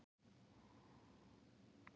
Það gekk vel þar.